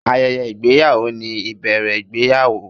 Ayẹyẹ ìgbéyàwó ni ìbẹ̀rẹ̀ ìgbéyàwó.